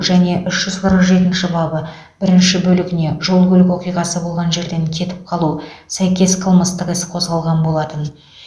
және үш жүз қырық жетінші бабы бірінші бөлігіне жол көлік оқиғасы болған жерден кетіп қалу сәйкес қылмыстық іс қозғалған болатын